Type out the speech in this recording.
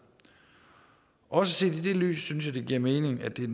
også set i det lys synes jeg det giver mening at det er